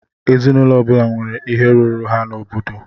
Ezinụlọ ọbula nwèrè ihe rụrụ ha n'obodo.